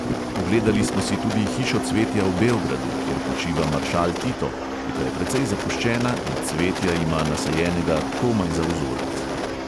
Ogledali smo si tudi hišo cvetja v beogradu, kjer počiva maršal tito, ki pa je precej zapuščena in cvetja ima nasajenega komaj za vzorec.